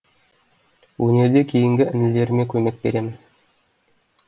өнерде кейінгі інілеріме көмек беремін